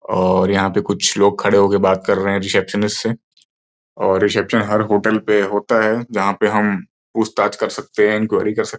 और यहाँ पे कुछ लोग खड़े होकर बात कर रहे हैं रीसेप्शनिस्ट से और रीसेप्शन हर होटल पे होता है। जहाँ पे हम पूछताछ कर सकते हैं। इन्क्वर्री कर स --